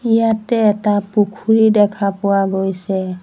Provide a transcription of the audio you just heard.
ইয়াতে এটা পুখুৰী দেখা পোৱা গৈছে।